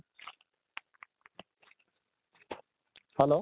hello